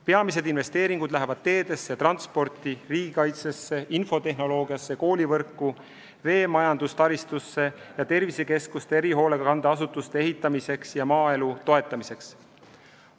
Peamised investeeringud lähevad teedesse, transporti, riigikaitsesse, infotehnoloogiasse, koolivõrku, veemajanduse taristusse ning tervisekeskuste ja erihoolekande asutuste ehitamiseks ja maaelu toetamiseks.